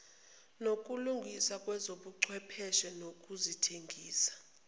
nokulungiswa kwezobuchwepheshe nezokuthengisa